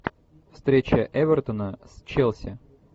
встреча эвертона с челси